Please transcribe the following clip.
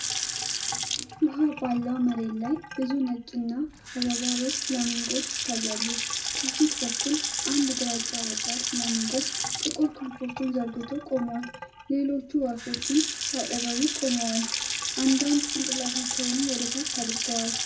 ውሀ ባለው መሬት ላይ ብዙ ነጭና ፈዛዛ ሮዝ ፍላሚንጎዎች ይታያሉ። ከፊት በኩል አንድ ግራጫ ወጣት ፍላሚንጎ ጥቁር ክንፎቹን ዘርግቶ ቆሟል፤ ሌሎች ወፎችም በአጠገቡ ቆመዋል፣ አንዳንድ ጭንቅላታቸውንም ወደ ታች አድርገዋል።